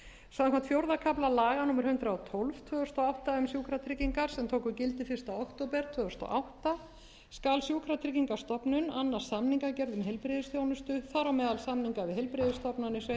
samkvæmt fjórða kafla laga númer hundrað og tólf tvö þúsund og átta um sjúkratryggingar sem tóku gildi fyrsta október tvö þúsund og átta skal sjúkratryggingastofnun annast samningsgerð um heilbrigðisþjónustu þar á meðal samninga við heilbrigðisstofnanir sveitarfélög